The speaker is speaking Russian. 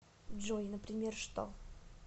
джой например что